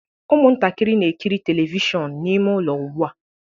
Ụmụntakịrị na-ekiri telivishọn n'ime ụlọ ugbu a